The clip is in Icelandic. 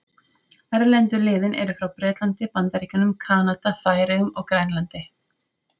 Erlendu liðin eru frá Bretlandi, Bandaríkjunum, Kanada, Færeyjum og Grænlandi.